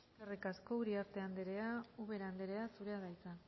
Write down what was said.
eskerrik asko uriarte andrea ubera andrea zurea da hitza